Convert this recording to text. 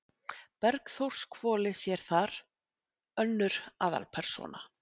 Bergþórshvoli sé þar önnur aðalpersóna.